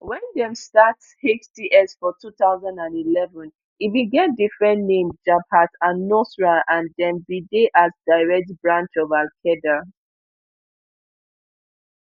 wen dem start hts for two thousand and eleven e bin get different name jabhat alnusra and dem bin dey as direct branch of alqaeda